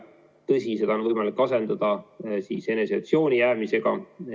Tõsi, seda on võimalik asendada eneseisolatsiooni jäämisega.